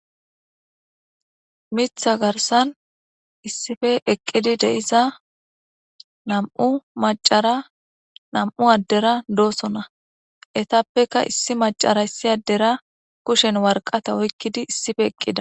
mitha garsan issife eqqidi deiza namu macara nam7u addera doosona etappeka issi macara issi addera kushen warqata oykkidi issife eqqida